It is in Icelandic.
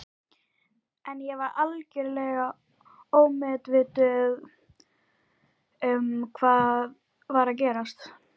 En ég var algjörlega ómeðvituð um hvað var að gerast.